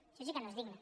això sí que no és digne